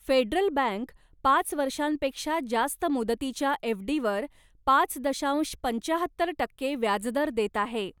Federal Bank पाच वर्षांपेक्षा जास्त मुदतीच्या एफ.डी.वर पाच दशांश पंच्याहत्तर टक्के व्याजदर देत आहे.